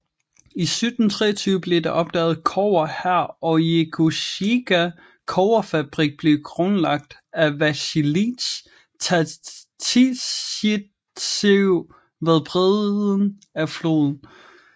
I 1723 blev der opdaget kobber her og Jegosjikha kobberfabrik blev grundlagt af Vasilij Tatisjtsjev ved bredden af floden